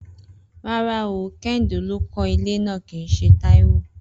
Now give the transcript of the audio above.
Rárá o, Kehinde ló kó̩ ilé náà kìí s̩e Táíwò